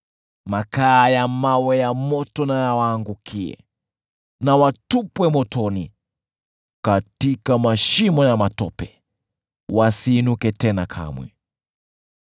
Makaa ya mawe ya moto na yawaangukie! Na watupwe motoni, katika mashimo ya matope, wasiinuke tena kamwe.